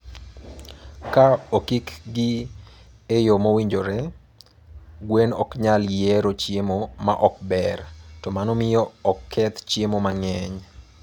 Ka okik gi e yo mowinjore, gwen ok nyal yiero chiemo ma ok ber, to mano miyo ok keth chiemo mang'eny.